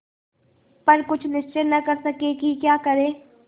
पर कुछ निश्चय न कर सके कि क्या करें